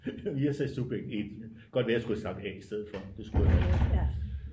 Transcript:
Jeg sagde subjekt 1 godt være jeg skulle have sagt A i stedet for det skulle jeg nok også